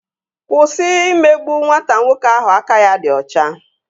Kwụsị imegbu nwata nwoke ahụ aka ya dị ọcha!